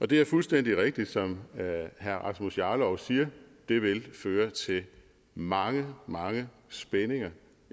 det er fuldstændig rigtigt som herre rasmus jarlov siger nemlig at det vil føre til mange mange spændinger